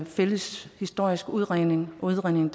fælles historiske udredning udredning